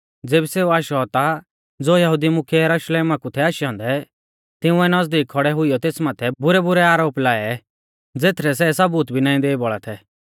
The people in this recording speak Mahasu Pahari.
ज़ेबी सेऊ आशौ ता ज़ो यहुदी मुख्यै यरुशलेमा कु थै आशै औन्दै तिंउऐ नज़दीक खौड़ै हुइयौ तेस माथै बुरैबुरै आरोप लाऐ ज़ेथरै सै सबूत भी नाईं देई बौल़ा थै